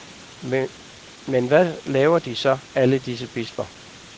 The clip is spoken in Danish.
Men hvad laver de så, alle disse bisper?